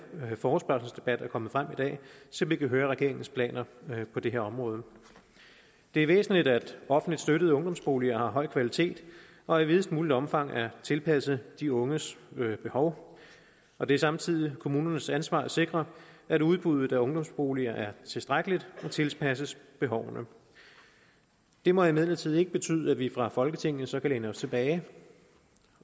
forespørgselsdebat er kommet frem i dag så vi kan høre om regeringens planer på det her område det er væsentligt at offentligt støttede ungdomsboliger har høj kvalitet og i videst muligt omfang er tilpasset de unges behov og det er samtidig kommunernes ansvar at sikre at udbuddet af ungdomsboliger er tilstrækkeligt og tilpasses behovene det må imidlertid ikke betyde at vi fra folketingets side så kan læne os tilbage